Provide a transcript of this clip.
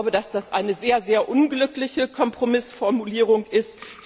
Ich glaube, dass das eine sehr, sehr unglückliche Kompromissformulierung ist.